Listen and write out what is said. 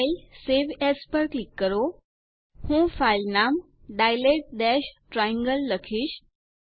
ફાઇલેગ્ટગટ save as પર click કરો હું ફાઈલ નામ dilate ટ્રાયેંગલ લખીશ